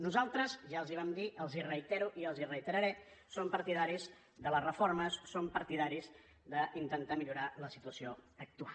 nosaltres ja els ho vam dir els ho reitero i els ho reiteraré som partidaris de les reformes som partidaris d’intentar millorar la situació actual